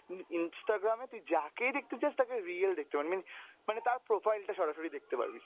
instagram এ তুই যাকেই দেখতে চাস তাকে real দেখতে পারবি, mean মানে তার profile টা সরাসরি দেখতে পারবি।